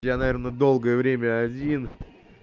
я наверное долгое время один